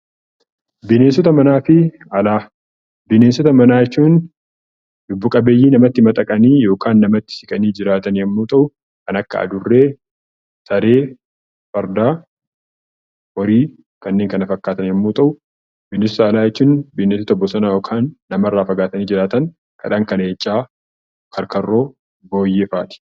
Bineensota manaa fi alaa Bineensota manaa jechuun lubbu qabeeyyii namatti madaqanii yookaan namatti siqanii jiraatan yommuu ta'u, kan akka Adurree, Saree, Fardaa, Horii, kanneen kana fakkaatan yemmuu ta'u; Bineensa alaa jechuun bineensota bosonaa yookaan nama irraa fagaatanii jiraatan kan akka Leencaa, Karkarroo, Booyyee fa'a ti.